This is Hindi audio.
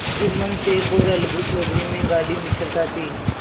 जुम्मन शेख और अलगू चौधरी में गाढ़ी मित्रता थी